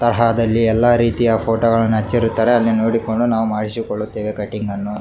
ತರಹದಲ್ಲಿ ಎಲ್ಲ ರೀತಿಯ ಫೋಟೋಗಳನ್ನು ಹಚ್ಚಿರುತ್ತ್ತಾರೆ ಅಲ್ಲಿ ನೋಡಿಕೊಂಡು ನಾವು ಮಾಡಿಸಿಕೊಳ್ಳುತ್ತೀವಿ ಕಟ್ಟಿಂಗ್ ಅನ್ನು --